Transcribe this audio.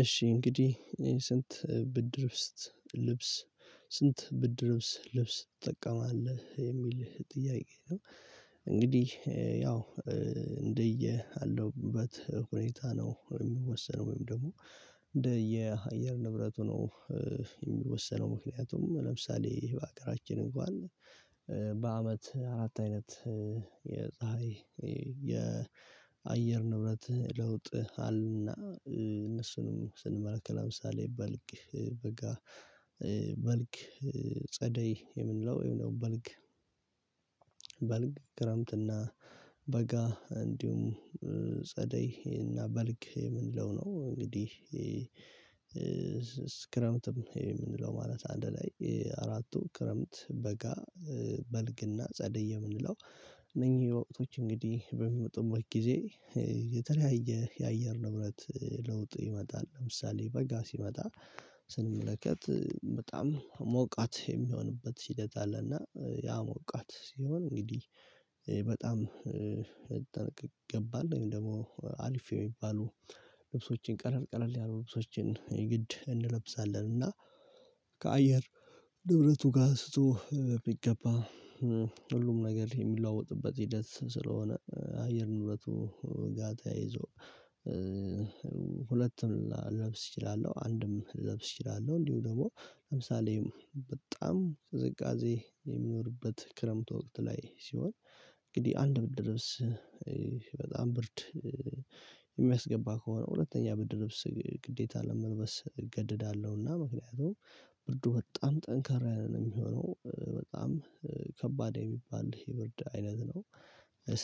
እሺ እንግዲህ ስንት ብርድ ልብስ ትጠቀማለህ የሚልህ ጥያቄ ነው? እንግዲህ ያው እንደየ አለውበት ሁኔታ ነው የሚወሰነው ወይም ደግሞ እንደ የአየር ንብረቱ። ነው ምክንያቱም ለምሳሌ በሀገራችን እንግዋለን በአመት አራት አይነት የፀሀይ የአየር ንብረት ለውጥ አለ። እና እነሱንም ስንመለከት ለምሳሌ በልግ በጋ በልግ ጸደይ የምንለው በልግ ክረምትና በጋ እንዲሁም እና በልግ የምንለው ነው። እንግዲህ ክረምት ማለት አንድ ላይ አራቱ ክረምት በጋ በልግና ጸድይ የምንለው እነኚህ የወቅቶች እንግዲህ በሚመጡበት ጊዜ የተለያየ የአየር ንብረት ለውጥ ይመጣል። ለምሳሌ በጋ ሲመጣ ስንመለከት በጣም ሞቃት የሚሆንበት ሂደት አለና ያሞቃት ሲሆን እንግዲህ በጣም ልንጠነቀቅ ይገባል። ደግሞ አልፌ የሚባሉ ልብሶችን ቀለል ቀለል ያሉ ልብሶችን የግድ እንለብሳለን። እና ከአየር ንብረቱ ጋር ስቶ ቢገባ ሁሉም ነገር የሚለውጥበት ሂደት ስለሆነ አየር ንብረቱ ጋር ይዞ ሁለቱም ልለብስ እችላለሁ አንድም ልለብስ እችላለሁ። እንዲሁ ደግሞ ለምሳሌ በጣም ቅዝቃዜ የሚኖርበት ክረምት ወቅት ላይ ሲሆን እንግዲህ አንድ ልብስ በጣም ብርድ የሚያስገባ ከሆነ ሁለተኛ ብርድ ልብስ ግዴታ ለመልበስ እገድዳለሁ። እና ምክንያቱም ብርዱ በጣም ጠንከራ ያለ ነው የሚሆነው በጣም ከባድ የሚባል የብርድ አይነት ነው።